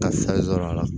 Ka fɛn sɔrɔ a la